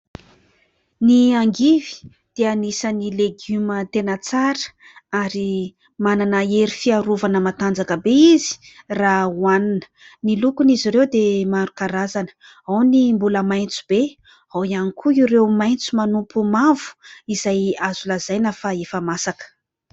Ny angivy dia anisan'ny legioma tena tsara ary manana hery fiarovana matanjaka be izy raha hoanina, ny lokon'izy ireo dia maro karazana ao ny mbola maitso be, ao ihany koa ireo maitso manompo mavo izay azo lazaina fa efa masaka.